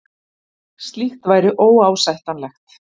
Slíkt væri óásættanlegt